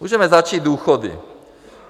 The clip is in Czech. Můžeme začít důchody.